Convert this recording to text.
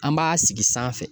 An b'a sigi sanfɛ